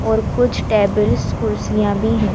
और कुछ टेबल्स कुर्सियां भी है।